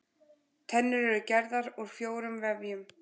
Tennur eru gerðar úr fjórum vefjum.